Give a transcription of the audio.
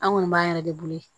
An kɔni b'an yɛrɛ de bolo ye